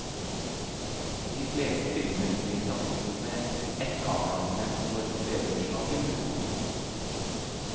De fleste filmer blir tatt opp med ett kamera, men for tredimensjonal film bruker man to.